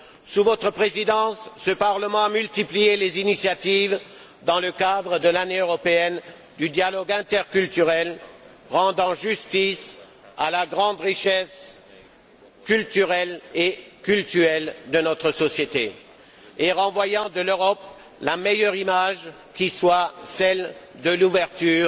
Sous votre présidence, ce Parlement a multiplié les initiatives dans le cadre de l'Année européenne du dialogue interculturel, rendant justice à la grande richesse culturelle et cultuelle de notre société, et renvoyant de l'Europe la meilleure image qui soit celle de l'ouverture